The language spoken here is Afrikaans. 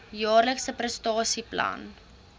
jaarlikse prestasie plan